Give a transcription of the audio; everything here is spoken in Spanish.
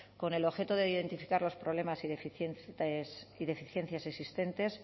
con el objeto de identificar los problemas y deficiencias existentes